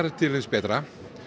til hins betra